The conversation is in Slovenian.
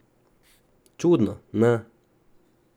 Čudno, ne?